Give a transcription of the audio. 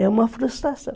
É uma frustração.